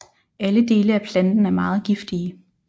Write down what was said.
Alle dele af planten er meget giftige